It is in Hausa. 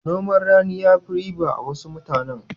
Noman rani ya fi riba a wurin wasu mutanen.